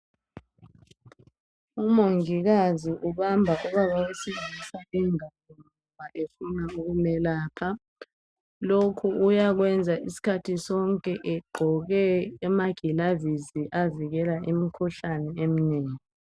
Umongikazi ubamba ubaba wesilisa ingalo efuna ukumelapha lokhu uyakwenza isikhathi sonke egqoke ama gilavisi avikela imikhuhlane eminengi